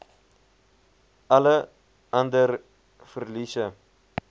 alle ander verliese